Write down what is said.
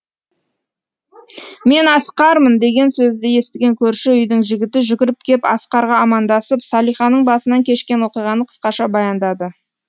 мен асқармын деген сөзді естіген көрші үйдің жігіті жүгіріп кеп асқарға амандасып салиханың басынан кешкен оқиғаны қысқаша баяндады